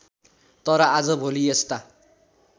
तर आजभोलि यस्ता